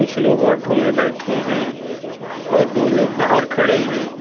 कुछ लोग ऑटो में बैठे हैं और दो लोग बाहर खड़े हैं।